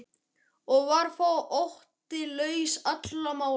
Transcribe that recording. Og var þó Otti laus allra mála.